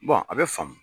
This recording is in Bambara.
a bɛ faamu